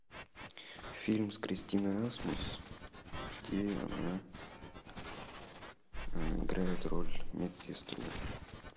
фильм с кристиной асмус где она играет роль медсестру